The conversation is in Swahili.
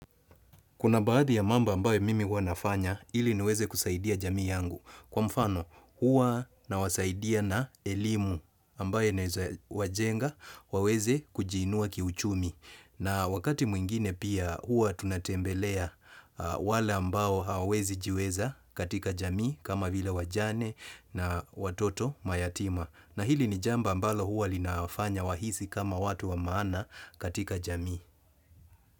Kuna baadhi ya mambo ambayo mimi hua nafanya hili niweze kusaidia jamii yangu. Kwa mfano, hua nawasaidia na elimu ambayo inaeza wajenga waweze kujiinua kiuchumi. Na wakati mwingine pia hua tunatembelea wale ambayo hawezi jiweza katika jamii kama vile wajane na watoto mayatima. Na hili ni jambo ambalo hua linawafanya wahisi kama watu wa maana katika jamii.